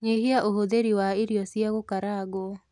Nyihia ũhũthĩri wa irio cia gũkarangwo